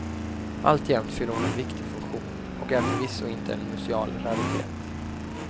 Alltjämt fyller hon en viktig funktion och är förvisso inte en museal raritet.